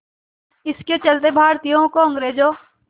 इसके चलते भारतीयों को अंग्रेज़ों